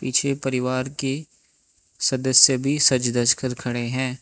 छे परिवार के सदस्य भी सज धज कर खड़े हैं।